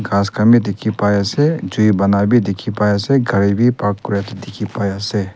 gass khan dekhi pai ase jui bona bhi bonai pai ase gari bhi park kori ta dekhi pai ase.